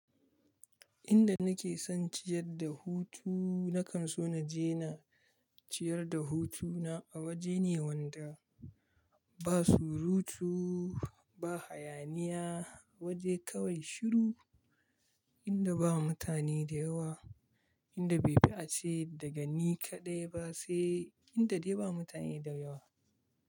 Inda nake son ciyar da hutu nakan so na je na ciyar da hutuna a waje ne wanda ba surutu, ba hayaniya, waje kawai shiru, inda ba mutane da yawa, inda bai fi a ce daga ni kaɗai ba sai inda dai ba mutane da yawa.